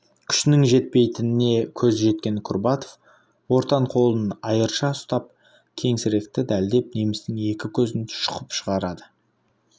күшінің жетпейтініне көзі жеткен курбатов ортан қолын айырша ұстап кеңсірікті дәлдеп немістің екі көзін шұқып шығарады